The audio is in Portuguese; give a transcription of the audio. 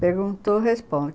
Perguntou, responde.